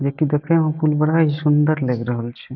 जे की देखे में पुल बड़ा ही सुन्दर लएग रहल छै।